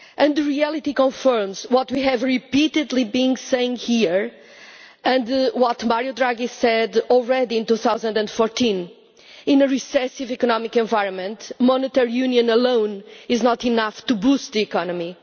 The reality confirms what we have repeatedly been saying here and what President Draghi said in 2014, which is that in a recessive economic environment, monetary union alone is not enough to boost the economy.